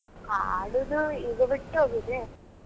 ಹಾಡುದು ಈಗ ಬಿಟ್ಟು ಹೋಗಿದೆ.